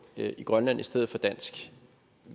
i grønland i stedet for dansk